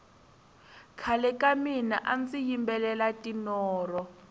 khale ka mina andzi yimbelela tinoro